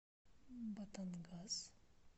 батангас